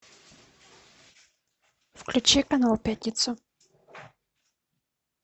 включи канал пятница